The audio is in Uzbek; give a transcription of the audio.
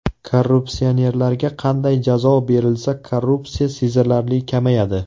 Korrupsionerlarga qanday jazo berilsa korrupsiya sezilarli kamayadi?